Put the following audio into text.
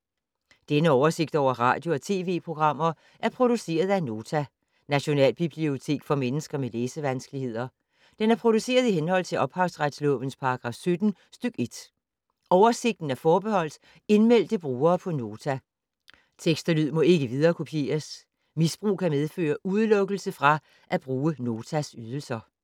Denne oversigt over radio og TV-programmer er produceret af Nota, Nationalbibliotek for mennesker med læsevanskeligheder. Den er produceret i henhold til ophavsretslovens paragraf 17 stk. 1. Oversigten er forbeholdt indmeldte brugere på Nota. Tekst og lyd må ikke viderekopieres. Misbrug kan medføre udelukkelse fra at bruge Notas ydelser.